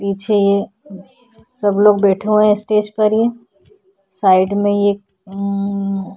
पीछे सब लोग बैठे हुए हैं स्टेज पर ये साइड में ये उउ --